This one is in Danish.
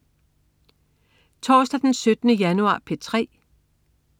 Torsdag den 17. januar - P3: